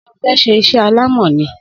Sé o fe ṣe isé alámò ni?